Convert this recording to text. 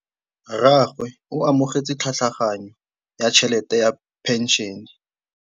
Rragwe o amogetse tlhatlhaganyô ya tšhelête ya phenšene.